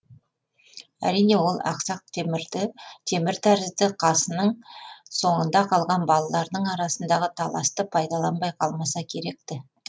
әрине ол ақсақ темір тәрізді қасының соңында қалған балаларының арасындағы таласты пайдаланбай қалмаса керек ті